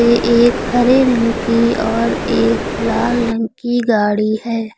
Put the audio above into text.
ये एक हरे रंग की और एक लाल रंग की गाड़ी है।